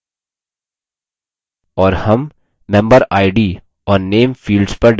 और name memberid और name fields पर double click करेंगे